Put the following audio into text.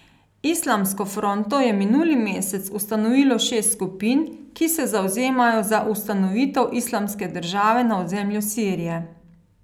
Islamsko fronto je minuli mesec ustanovilo šest skupin, ki se zavzemajo za ustanovitev islamske države na ozemlju Sirije.